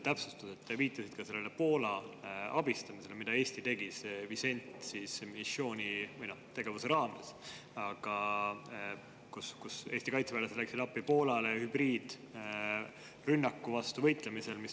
Te viitasite Poola abistamisele, mida Eesti tegi selle Wisent- missiooni või tegevuse raames, kus Eesti kaitseväelased läksid Poolale appi Valgevene hübriidrünnaku vastu võitlemisel.